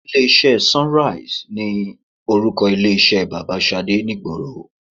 Ilé iṣẹ́ SUNRISE ni orúkọ ilé iṣẹ́ bàbá Ṣadé ni ìgboro.